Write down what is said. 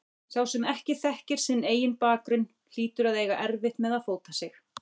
Sá sem ekki þekkir sinn eigin bakgrunn hlýtur að eiga erfitt með að fóta sig.